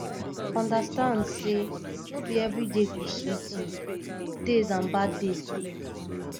understand say no be everyday go sweet you good days and bad days de